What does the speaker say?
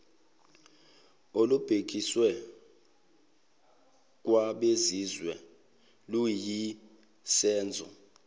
olubhekiswe kwabezizwe luyisenzo